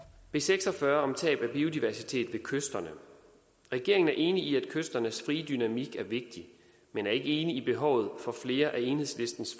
b seks og fyrre tab af biodiversitet ved kysterne regeringen er enig i at kysternes frie dynamik er vigtig men er ikke enig i behovet for flere af enhedslistens